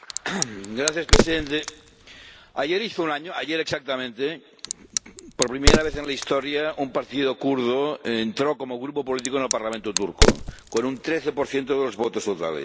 Señor Presidente, ayer hizo un año —ayer exactamente— que, por primera vez en la historia, un partido kurdo entró como grupo político en el Parlamento turco, con un 13 de los votos totales.